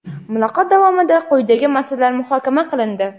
Muloqot davomida quyidagi masalalar muhokama qilindi:.